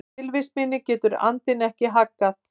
Tilvist minni getur andinn ekki haggað.